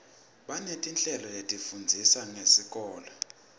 banetinhlelo letifundzisa ngesikolo